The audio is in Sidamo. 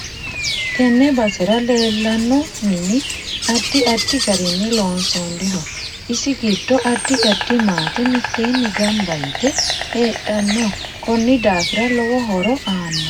Tenne basera leelano mini addi addi garinni loonsooniho isi giddo addi addi maate miteeni ganbba yite heedhano koni daafira lowo horo aanno